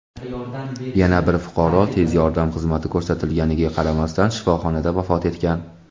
yana bir fuqaro tez yordam xizmati ko‘rsatilganiga qaramasdan shifoxonada vafot etgan.